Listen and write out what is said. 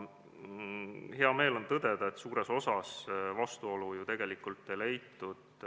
Hea meel on tõdeda, et suures osas vastuolu ei leitud.